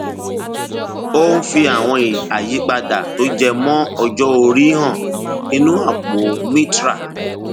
ó ń fi àwọn àyípadà tó jẹ mọ ọjọ orí hàn nínú àpò mitral